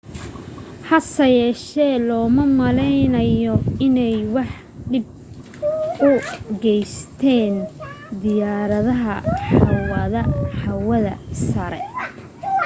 hasa yeeshee looma maleynaayo inay wax dhib u geysteen diyaarada hawada sare